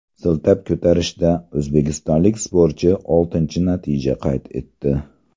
Siltab ko‘tarishda o‘zbekistonlik sportchi oltinchi natija qayd etdi.